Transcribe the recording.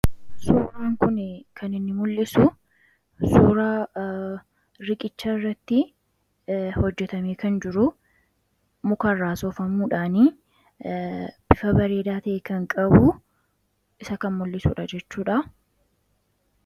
Suuraan kun kan inni mul'isu suuraa riqicha irratti hojjetamee kan jiru mukarraa sofamuudhaanii ifa bareedaa ta'e kan qabu isa kan mul'isuudha jechuudha